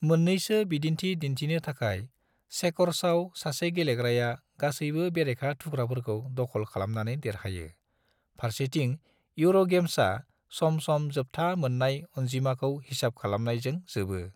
मोननैसो बिदिन्थि दिन्थिनो थाखाय: चेकर्साव, सासे गेलेग्राया गासैबो बेरेखा थुख्राफोरखौ दख'ल खालामनानै देरहायो, फारसेथिं यूर'गेम्सा सम सम जोबथा मोन्नाय अनजिमाखौ हिसाब खालामनायजों जोबो।